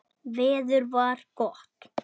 Veður var gott.